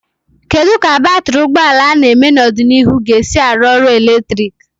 Kedu ka batrị ụgbọ ala ga-eme n'ọdịnihu ga-esi arụ ọrụ eletrik?